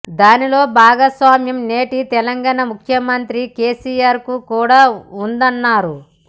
దానిలో భాగస్వామ్యం నేటి తెలంగాణ ముఖ్యమంత్రి కేసీఆర్కు కూడా ఉందన్నారు